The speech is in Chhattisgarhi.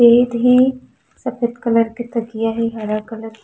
गेट हे सफ़ेद कलर के तकियाँ हे हरा कलर के--